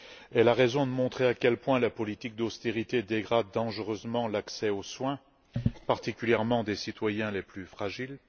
Elle a raison de montrer à quel point la politique d'austérité dégrade dangereusement l'accès aux soins, particulièrement pour les citoyens les plus fragiles.